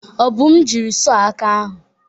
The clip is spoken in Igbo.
Obum jiri sọh aka ahụ.